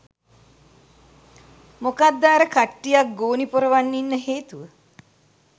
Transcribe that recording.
මොකද්ද අර කට්ටියක් ගෝනි පොරවන් ඉන්න හේතුව